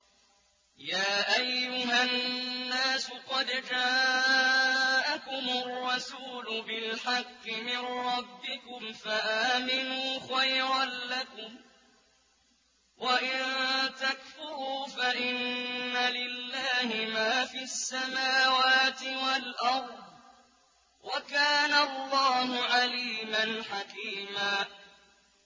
يَا أَيُّهَا النَّاسُ قَدْ جَاءَكُمُ الرَّسُولُ بِالْحَقِّ مِن رَّبِّكُمْ فَآمِنُوا خَيْرًا لَّكُمْ ۚ وَإِن تَكْفُرُوا فَإِنَّ لِلَّهِ مَا فِي السَّمَاوَاتِ وَالْأَرْضِ ۚ وَكَانَ اللَّهُ عَلِيمًا حَكِيمًا